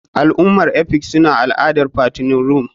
Al'ummar efik suna al'adar fattening room.